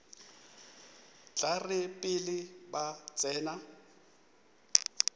tla re pele ba tsena